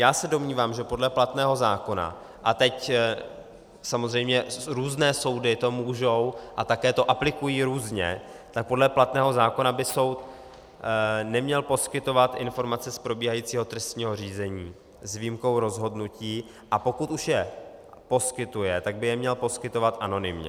Já se domnívám, že podle platného zákona, a teď samozřejmě různé soudy to můžou, a také to aplikují různě, tak podle platného zákona by soud neměl poskytovat informace z probíhajícího trestního řízení s výjimkou rozhodnutí, a pokud už je poskytuje, tak by je měl poskytovat anonymně.